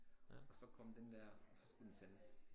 Og så kom den der og så skulle den sendes